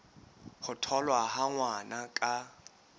ho tholwa ha ngwana ka